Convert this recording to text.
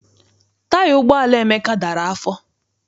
Taya ụgbọala Emeka dara afọ.